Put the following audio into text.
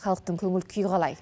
халықтың көңіл күйі қалай